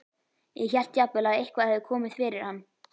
Ég hélt jafnvel að eitthvað hefði komið fyrir hann.